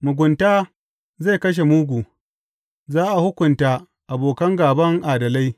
Mugunta zai kashe mugu; za a hukunta abokan gāban adalai.